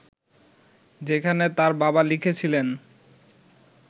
যেখানে তার বাবা লিখেছিলেন